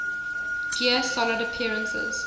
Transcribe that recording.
gear solid appearances